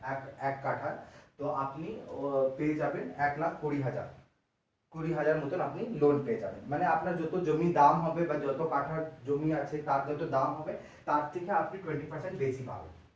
এক কাঠা এর তো আপনি পেয়ে যাবেন এক লাখ কুড়ি হাজার কুড়ি হাজার মতন আপনি loan পেয়ে যাবেন মানে আপনার জমির যত দাম হবে যত কাঠা জমি আছে তার যত দাম হবে তার থেকে আপনি twenty percent বেশী পাবেন।